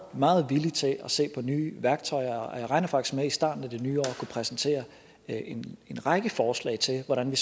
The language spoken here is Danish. meget villig til at se på nye værktøjer og jeg regner faktisk med i starten af det nye år at kunne præsentere en en række forslag til hvordan vi